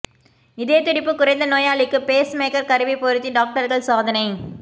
இதய துடிப்பு குறைந்த நோயாளிக்கு பேஸ் மேக்கர் கருவி பொருத்தி டாக்டர்கள் சாதனை